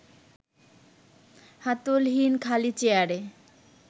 হাতলহীন খালি চেয়ারে